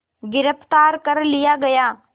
गिरफ़्तार कर लिया गया